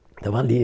Estava ali.